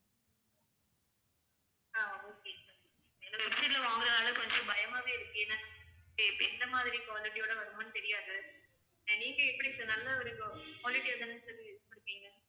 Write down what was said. ஆஹ் okay sir எங்களுக்கு website ல வாங்குறதா இருந்தா கொஞ்சம் பயமாகவே இருக்கு ஏன்னா எ~ எந்த மாதிரி quality யோட வருமோன்னு தெரியாது நீங்க எப்படி sir நல்ல ஒரு qu~ quality யா தான sir இது பண்ணுவீங்க?